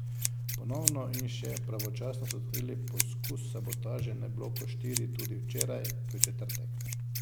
Ponovno in še pravočasno so odkrili poskus sabotaže na bloku štiri tudi včeraj, v četrtek.